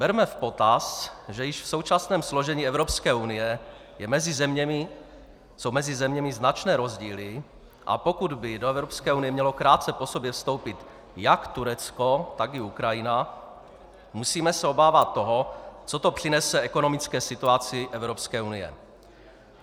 Berme v potaz, že již v současném složení Evropské unie jsou mezi zeměmi značné rozdíly, a pokud by do Evropské unie mělo krátce po sobě vstoupit jak Turecko, tak i Ukrajina, musíme se obávat toho, co to přinese ekonomické situaci Evropské unie.